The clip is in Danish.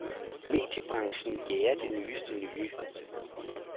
Mediebranchen jager det nyeste nye.